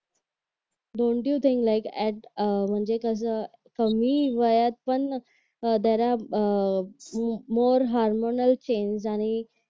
don't you think like age a म्हणजे कसं कमी वयात पण जरा अह मोर हार्मोनल चेंज आणि